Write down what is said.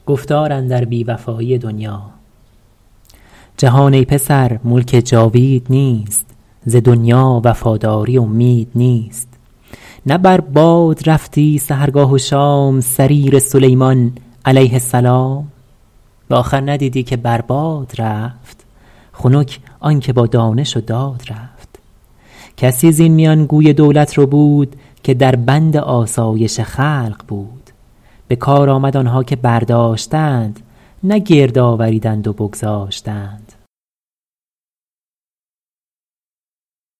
جهان ای پسر ملک جاوید نیست ز دنیا وفاداری امید نیست نه بر باد رفتی سحرگاه و شام سریر سلیمان علیه السلام به آخر ندیدی که بر باد رفت خنک آن که با دانش و داد رفت کسی زین میان گوی دولت ربود که در بند آسایش خلق بود به کار آمد آنها که برداشتند نه گرد آوریدند و بگذاشتند